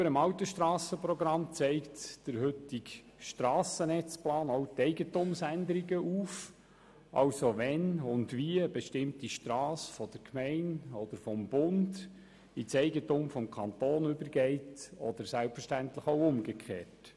Gegenüber dem alten Strassenprogramm zeigt der heutige Strassennetzplan auch die Eigentumsänderungen auf, nämlich wann und wie eine bestimmte Strasse von der Gemeinde oder dem Bund in das Eigentum des Kantons übergeht oder selbstverständlich auch umgekehrt.